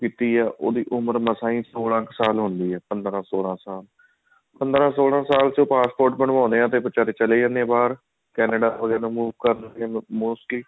ਕੀਤੀ ਹੈ ਉਹਦੀ ਉਮਰ ਮਸਾ ਹੀ ਸੋਲਾਂ ਸਾਲ ਹੁੰਦੀ ਹੈ ਪੰਦਰਾਂ ਸੋਲਾਂ ਸਾਲ ਪੰਦਰਾਂ ਸੋਲਾਂ ਸਾਲ ਚ ਪਾਸਪੋਰਟ ਬਣਵਾਉਂਦੇ ਹਾਂ ਤੇ ਫ਼ੇਰ ਚਲੇ ਜਾਂਦੇ ਆ ਬਾਹਰ Canada ਵਗੇਰਾ move ਕਰ ਰਹੇ ਨੇ mostly